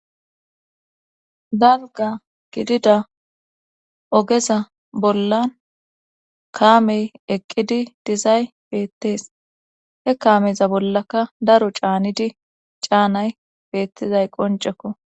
dalga gidida ogeza bollan kaamey eqqidi dizay beettees he kaameza bollaka daro caanidi caanay beettizay qoncekko